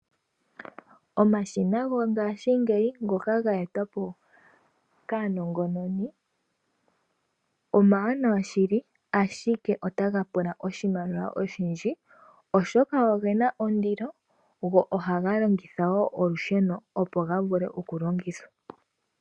Omashina gongashingeyi ngoka ga etwapo kaanongononi omawanawa shili ashike otaga pula oshimaliwa oshindji, oshoka ogena ondilo go ohaga longitha woo olusheno opo gavule okulongithwa.